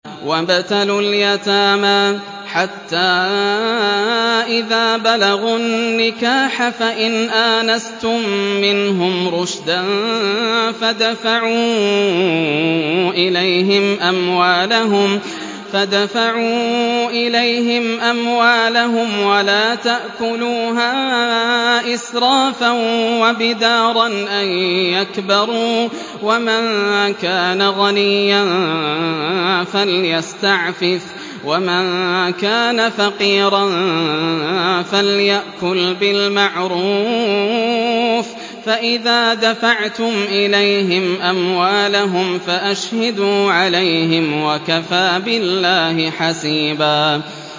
وَابْتَلُوا الْيَتَامَىٰ حَتَّىٰ إِذَا بَلَغُوا النِّكَاحَ فَإِنْ آنَسْتُم مِّنْهُمْ رُشْدًا فَادْفَعُوا إِلَيْهِمْ أَمْوَالَهُمْ ۖ وَلَا تَأْكُلُوهَا إِسْرَافًا وَبِدَارًا أَن يَكْبَرُوا ۚ وَمَن كَانَ غَنِيًّا فَلْيَسْتَعْفِفْ ۖ وَمَن كَانَ فَقِيرًا فَلْيَأْكُلْ بِالْمَعْرُوفِ ۚ فَإِذَا دَفَعْتُمْ إِلَيْهِمْ أَمْوَالَهُمْ فَأَشْهِدُوا عَلَيْهِمْ ۚ وَكَفَىٰ بِاللَّهِ حَسِيبًا